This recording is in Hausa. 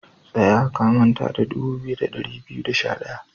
Tsaya, ka manta da dubu biyu da dari biyu da sha daya!